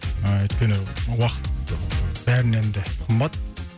ыыы өйткені уақыт ы бәрінен де қымбат